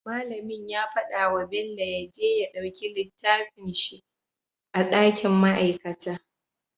Mallamin ya faɗa wa bello yaje ya ɗauki littafin shi a dakin ma'aikata